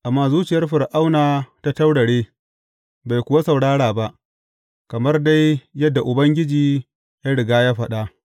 Amma zuciyar Fir’auna ta taurare, bai kuwa saurara ba, kamar dai yadda Ubangiji ya riga ya faɗa.